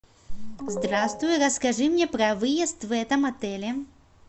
здравствуй расскажи мне про выезд в этом отеле